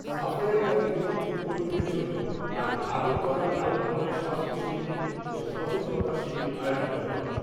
সাফাইয়ের কাজে নিযুক্ত কর্মীদের জন্য আজ আগরতলা টাউন হলে স্বাস্থ্য শিবির ও সচেতনতা শিবির আয়োজিত হয়।